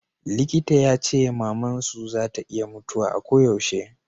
likita ya ce maman su za ta iya mutuwa a ko yaushe